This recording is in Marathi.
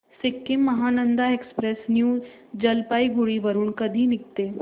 सिक्किम महानंदा एक्सप्रेस न्यू जलपाईगुडी वरून कधी निघते